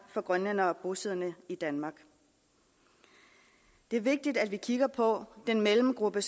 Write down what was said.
for grønlændere bosiddende i danmark det er vigtigt at vi kigger på den mellemgruppe